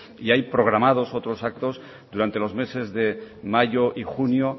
y hay programados otros actos durante los meses de mayo y junio